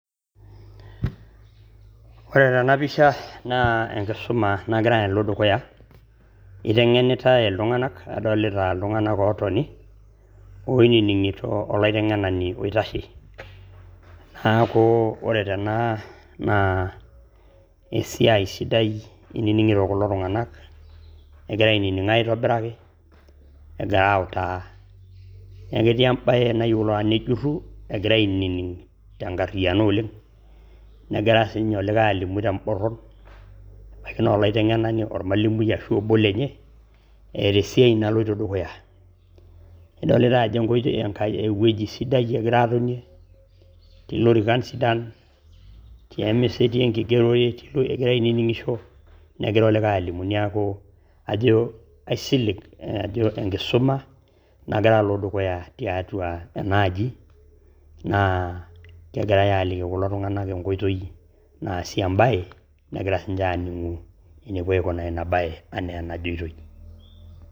Ore tena pisha naa enkisuma nagira alo dukuya eitengenitai ltunganak adolita ltungana ootoni oininingito oliteng'enani oitashe ,naaku ore tena naaa esiaai sidai einining'ito kulo tunganak ,egira aininong' aitobiraki egira autaa, eketii embaye taata nejuruu egira ainining' te inkariana oleng, negira sii ninye olikai alimu to mboron abaki naa olaitangenani ormwalimui ashu obo lenye eeta esiaai naloto dukuya ,idolita ajo eweji sidai egira aatonie ,te lorikan sidan ye emesa etii enkigeroret egira aininingisho negira olikaia alimu neaku ajo aisilig ajo ore enkisuma naa kelo alo dukuya teatua enaaji naa kegirai aaliki kulo tunganak enkoitoi naasie embae nagira sii ninye aaning'u enepo aikunaa ina bae enaijotoi.